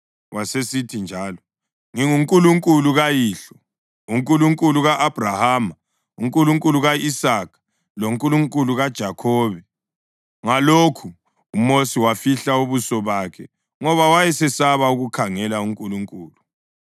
Wasesithi njalo, “NginguNkulunkulu kayihlo, uNkulunkulu ka-Abhrahama, uNkulunkulu ka-Isaka loNkulunkulu kaJakhobe.” Ngalokhu, uMosi wafihla ubuso bakhe ngoba wayesesaba ukukhangela uNkulunkulu.